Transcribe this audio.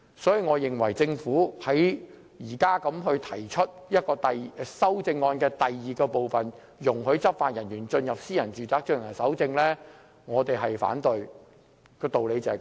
所以，對於政府現時提出第二組修正案容許執法人員進入私人住宅搜證，我們反對，道理就是這麼簡單而已。